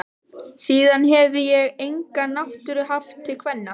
Síðan hefi ég enga náttúru haft til kvenna.